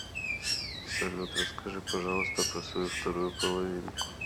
салют расскажи пожалуйста про свою вторую половинку